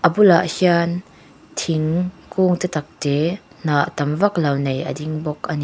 a bulah hian thing kung te tak te hnah tam vaklo nei a ding bawk a ni.